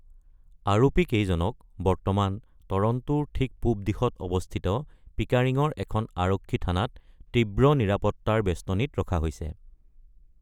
আৰোপী কেইজনক বৰ্তমান টৰন্টোৰ ঠিক পূব দিশত অৱস্থিত পিকাৰিঙৰ এখন আৰক্ষী থানাত তীব্ৰ নিৰাপত্তাৰ বেষ্টনীত ৰখা হৈছে।